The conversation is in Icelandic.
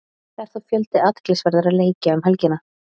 Það er þó fjöldi athyglisverðra leikja um helgina.